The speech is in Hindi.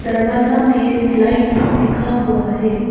दरवाजा में स्लाइड लिखा हुआ है।